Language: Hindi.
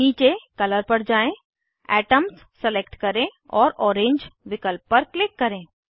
नीचे कलर पर जाएँ एटम्स सलेक्ट करें और ओरेंज विकल्प पर क्लिक करें